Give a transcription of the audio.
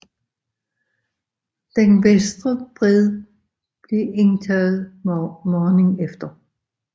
Den venstre bred blev indtaget morgenen efter